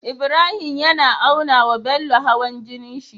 Ibrahim yAna aunawa Bello hawan jinin shi